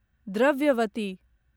Dravyavati